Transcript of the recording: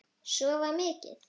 Sofa mikið.